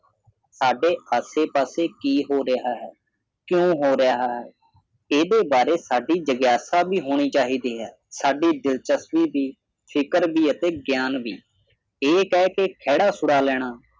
ਸਾਡੇ ਆਸੇ ਪਾਸੇ ਕੀ ਹੋ ਰਿਹਾ ਹੈ ਕਿਉਂ ਹੋ ਰਿਹਾ ਹੈ ਇਹਦੇ ਬਾਰੇ ਸਾਡੀ ਜਿਗਿਆਸਾ ਵੀ ਹੋਣੀ ਚਾਹੀਦੀ ਹੈ ਸਾਡੀ ਦਿਲਚਸਪੀ ਵੀ ਫਿਕਰ ਵੀ ਤੇ ਗਿਆਨ ਵੀ ਇਹ ਕਹਿ ਕੇ ਖਹਿੜਾ ਛੁਡਾ ਲੈਣਾ